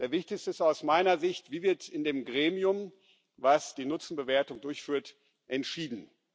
Der Wichtigste ist aus meiner Sicht Wie wird in dem Gremium, das die Nutzenbewertung durchführt, entschieden?